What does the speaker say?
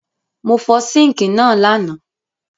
Mo fo sink náà lánàá